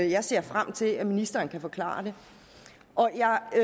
jeg ser frem til at ministeren kan forklare det